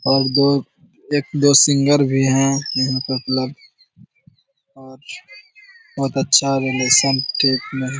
और दोएक दो सिंगर भी है यहाँ पे उपलब्ध और बहुत अच्छा रिलेसन --